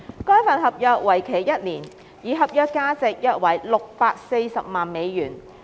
該份合約為期一年，而合約價值約為640萬美元。